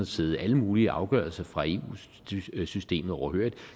sidde alle mulige afgørelser fra eu systemet overhørig